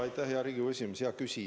Jaa, aitäh, hea Riigikogu esimees!